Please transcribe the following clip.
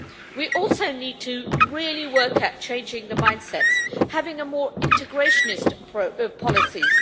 We also need to really work at changing the mindsets, at having more integrationist policies